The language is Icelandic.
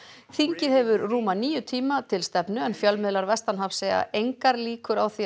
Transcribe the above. þingið hefur rúma níu tíma til stefnu en fjölmiðlar vestanhafs segja engar líkur á því að